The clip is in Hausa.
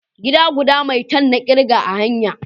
Gida guda maitan na kirga a hanya